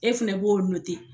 E fɛnɛ b'o note